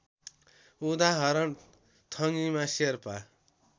उदाहरण थङिमा शेर्पा